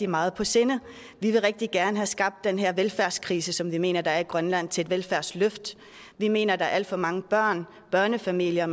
meget på sinde vi vil rigtig gerne have omskabt den her velfærdskrise som vi mener der er i grønland til et velfærdsløft vi mener at der er alt for mange børnefamilier og